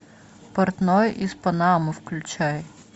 портной из панамы включай